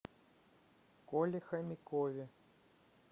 коле хомякове